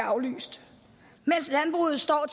aflyst mens landbruget står